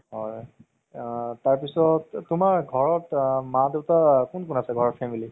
হয় আ তাৰ পিছত তুমাৰ ঘৰত আ মা দেউতা কোন কোন আছে family